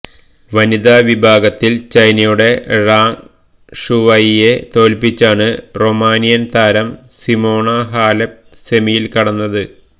വനിത വിഭാഗത്തില് ചൈനയുടെ ഴാങ് ഷുവൈയെ തോല്പ്പിച്ചാണ് റൊമാനിയന് താരം സിമോണ ഹാലെപ് സെമിയില് കടന്നത്